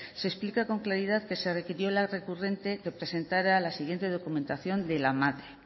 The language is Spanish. se explica con claridad que se requirió a la recurrente que presentara la siguiente documentación de la madre